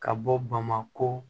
Ka bɔ bamako